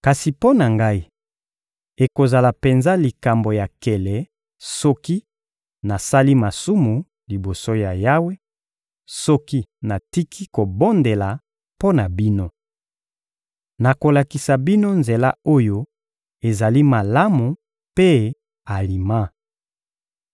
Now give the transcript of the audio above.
Kasi mpo na ngai, ekozala penza likambo ya nkele soki nasali masumu liboso ya Yawe, soki natiki kobondela mpo na bino! Nakolakisa bino nzela oyo ezali malamu mpe alima.